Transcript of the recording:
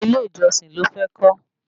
Ilé ìjọsìn ló fẹ́ kọ́